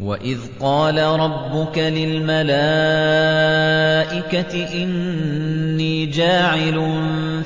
وَإِذْ قَالَ رَبُّكَ لِلْمَلَائِكَةِ إِنِّي جَاعِلٌ